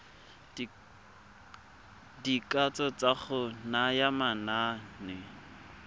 dikatso tsa go naya manane